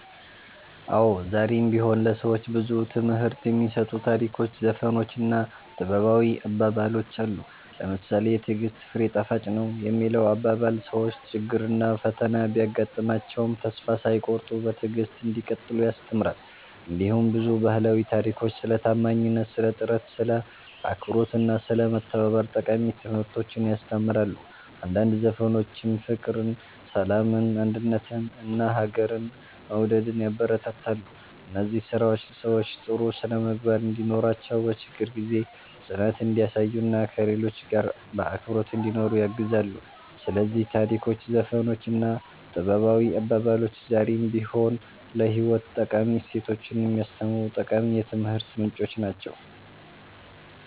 አዎ፣ ዛሬም ቢሆን ለሰዎች ብዙ ትምህርት የሚሰጡ ታሪኮች፣ ዘፈኖች እና ጥበባዊ አባባሎች አሉ። ለምሳሌ ‘የትዕግሥት ፍሬ ጣፋጭ ነው’ የሚለው አባባል ሰዎች ችግርና ፈተና ቢያጋጥማቸውም ተስፋ ሳይቆርጡ በትዕግሥት እንዲቀጥሉ ያስተምራል። እንዲሁም ብዙ ባህላዊ ታሪኮች ስለ ታማኝነት፣ ስለ ጥረት፣ ስለ አክብሮት እና ስለ መተባበር ጠቃሚ ትምህርቶችን ያስተምራሉ። አንዳንድ ዘፈኖችም ፍቅርን፣ ሰላምን፣ አንድነትን እና ሀገርን መውደድን ያበረታታሉ። እነዚህ ስራዎች ሰዎች ጥሩ ስነ-ምግባር እንዲኖራቸው፣ በችግር ጊዜ ጽናት እንዲያሳዩ እና ከሌሎች ጋር በአክብሮት እንዲኖሩ ያግዛሉ። ስለዚህ ታሪኮች፣ ዘፈኖች እና ጥበባዊ አባባሎች ዛሬም ቢሆን ለህይወት ጠቃሚ እሴቶችን የሚያስተምሩ ጠቃሚ የትምህርት ምንጮች ናቸው።"